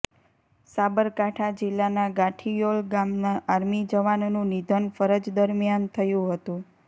સાબરકાંઠા જીલ્લાના ગાંઠીયોલ ગામના આર્મી જવાનનું નિધન ફરજ દરમ્યાન થયુ હતુ